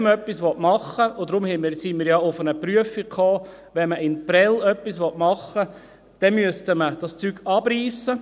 Wenn man in Prêles etwas machen will – und deshalb sind wir ja auf eine Prüfung gekommen –, müsste man das Vorhandene abreissen.